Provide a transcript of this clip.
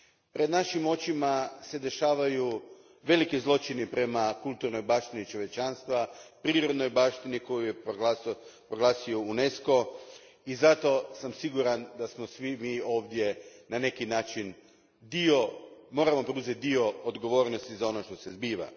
Pred našim očima dešavaju se veliki zločini prema kulturnoj baštini čovječanstva, prirodnoj baštini koju je proglasio UNESCO i zato sam siguran da svi mi ovdje na neki način moramo preuzeti dio odgovornosti za ono što se zbiva.